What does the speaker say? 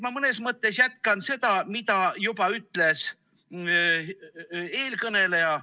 Ma mõnes mõttes jätkan seda, mida juba ütles eelkõneleja.